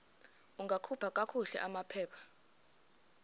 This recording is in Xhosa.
ungakhupha kakuhle amaphepha